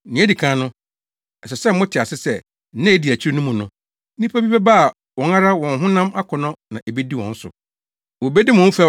Nea edi kan no, ɛsɛ sɛ mote ase sɛ nna a edi akyiri no mu no, nnipa bi bɛba a wɔn ara wɔn honam akɔnnɔ na ebedi wɔn so. Wobedi mo ho fɛw